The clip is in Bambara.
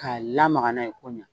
Ka lamaka n'a ye ko ɲɛ